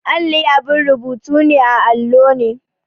Alli abin rubutu ne a allo ne.